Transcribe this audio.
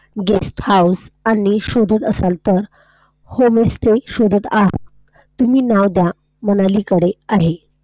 Guest House आणि शोधात असाल तर Hone stay शोधात असाल तर तुम्ही मनाली कडे आहे.